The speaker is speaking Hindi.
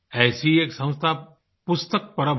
ऐसी एक संस्था पुस्तक परब है